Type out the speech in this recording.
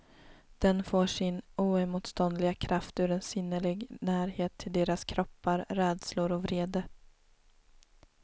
Den får sin oemotståndliga kraft ur en sinnlig närhet till deras kroppar, rädslor och vrede.